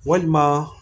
Walima